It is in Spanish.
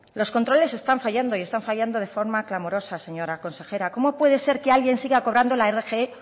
los controles están fallando y están fallando de forma clamorosa señora consejera cómo puede ser que alguien siga cobrando la rgi